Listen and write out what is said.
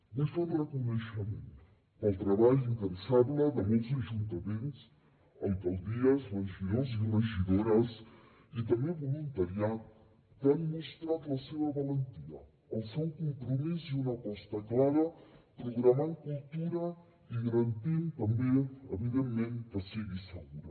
vull fer un reconeixement pel treball incansable de molts ajuntaments alcaldies regidors i regidores i també voluntariat que han mostrat la seva valentia el seu compromís i una aposta clara programant cultura i garantint també evidentment que sigui segura